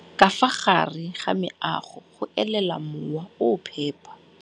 Ka fa gare ga meago go elela mowa o o phepa.